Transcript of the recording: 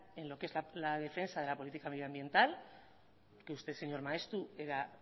en lo que es la defensa de la política medioambiental que usted señor maeztu era